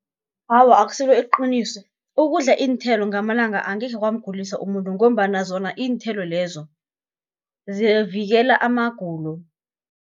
Awa akusilo iqiniso, ukudla iinthelo ngamalanga angekhe kwamguliswa umuntu, ngombana zona iinthelo lezo, zivikela amagulo.